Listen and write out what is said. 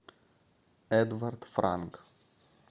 эдвард франк